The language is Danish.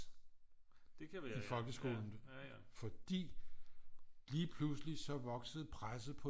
I folkeskolen fordi lige pludselig så voksede presset på